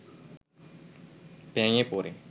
ভেঙে পড়ে